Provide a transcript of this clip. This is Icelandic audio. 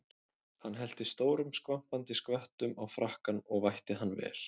Hann hellti stórum skvampandi skvettum á frakkann og vætti hann vel.